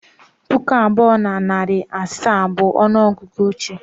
Puku abụọ na narị na asaa bụ ọnụ ọgụgụ ochie